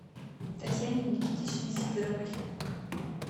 татьяне никитичне сидоровой